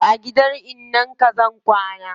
Yau a gidan innan ka zaa ka kwana